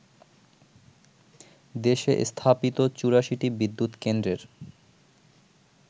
দেশে স্থাপিত ৮৪টি বিদ্যুৎ কেন্দ্রের